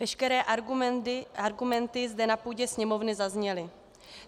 Veškeré argumenty zde na půdě Sněmovny zazněly.